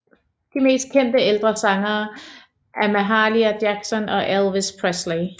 De mest kendte ældre sangere er Mahalia Jackson og Elvis Presley